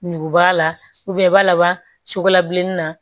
Ɲuguba la i b'a laban sugu la bilenni na